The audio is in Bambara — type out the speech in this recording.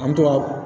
An bɛ to ka